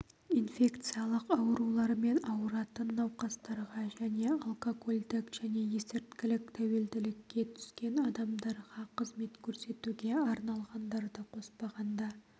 инфекциялық аурулармен ауыратын науқастарға және алкогольдік және есірткілік тәуелділікке түскен адамдарға қызмет көрсетуге арналғандарды қоспағанда